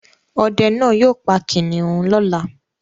Ọdẹ náá yóò pa kìnnìún lọ́la